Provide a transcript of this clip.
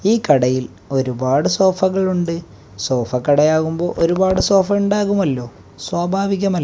ഈ കടയിൽ ഒരുപാട് സോഫകൾ ഉണ്ട് സോഫ കടയാകുമ്പോൾ ഒരുപാട് സോഫ ഉണ്ടാകുമല്ലോ സ്വാഭാവികമ--